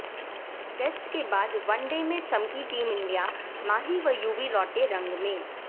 test के बाद one day में चमकी टीम इंडिया माही व युवी लौटे रंग में